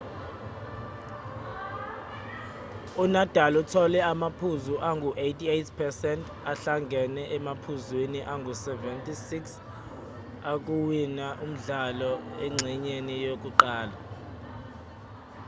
unadal uthole amaphuzu angu-88% ahlangene emaphuzwini angu-76 okuwina umdlalo engxenyeni yokuqala